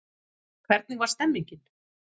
Hvernig var stemmingin?